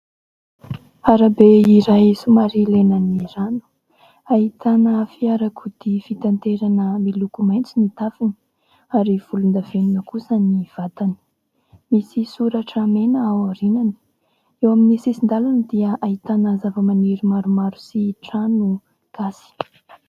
Arabe iray somary lena ny rano ahitana fiarakodia fitaterana miloko maitso ny tafony ary volondavenona kosa ny vatany, misy soratra mena aorinany eo amin'ny sisin-dalana dia ahitana zavamaniry maromaro sy trano gasy.